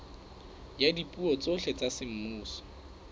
ya dipuo tsohle tsa semmuso